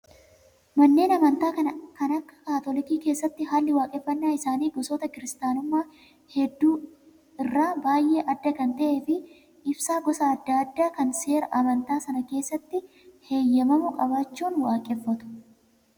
Manneen amantaa kan akka kaatolikii keessatti haalli waaqeffannaa isaanii gosoota kiristaanummaa hedduu irraa baay'ee adda kan ta'ee fi ibsaa gosa adda addaa kan seera amantaa Sanaa keessatti heeyyamamu qabaachuun waaqeffatu.